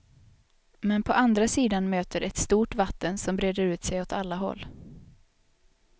Men på andra sidan möter ett stort vatten som breder ut sig åt alla håll.